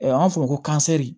An b'a fɔ o ma ko